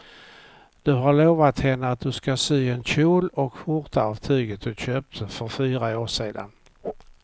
Du har lovat henne att du ska sy en kjol och skjorta av tyget du köpte för fyra år sedan.